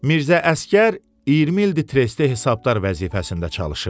Mirzə Əsgər 20 ildir trestdə hesabdar vəzifəsində çalışırdı.